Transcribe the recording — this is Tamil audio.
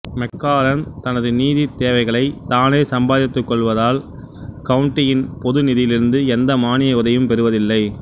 மெக்காரன் தனது நிதித்தேவைகளை தானே சம்பாதித்துக் கொள்வதால் கவுன்ட்டியின் பொதுநிதியிலிருந்து எந்த மானிய உதவியும் பெறுவதில்லை